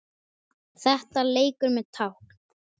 Þetta er leikur með tákn